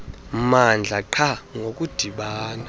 mmandla qha ngokudibana